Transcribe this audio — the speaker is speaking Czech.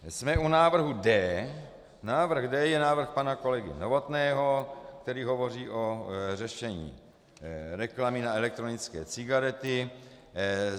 Jsme u návrhu D. Návrh D je návrh pana kolegy Novotného, který hovoří o řešení reklamy na elektronické cigarety.